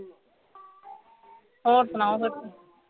ਹੋਰ ਸੁਣਾਓ ਫੇਰ ਤੁਸੀਂ